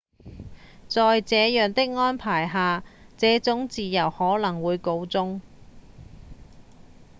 在這樣的安排下這種自由可能會告終